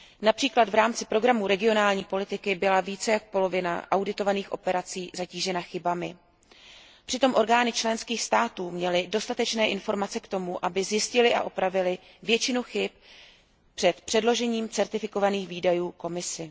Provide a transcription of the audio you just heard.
Například v rámci programů regionální politiky byla více jak polovina auditovaných operací zatížena chybami. Přitom orgány členských států měly dostatečné informace k tomu, aby zjistily a opravily většinu chyb před předložením certifikovaných výdajů Komisi.